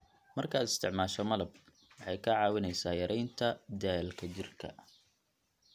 Markaad isticmaasho malab, waxay kaa caawinaysaa yaraynta daalka jidhka.